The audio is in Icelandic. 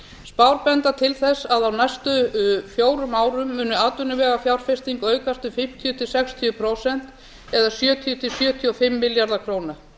spár benda til þess að á næstu fjórum árum muni atvinnuvegafjárfesting aukast um fimmtíu til sextíu prósent eða sjötíu til sjötíu og fimm milljarða króna